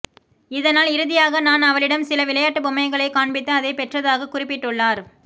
இதனால் இறுதியாக நான் அவளிடம் சில விளையாட்டு பொம்மைகளை காண்பித்து அதை பெற்றதாக குறிப்பிட்டுள்ளார்